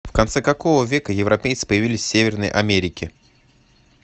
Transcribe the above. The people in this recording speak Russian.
в конце какого века европейцы появились в северной америке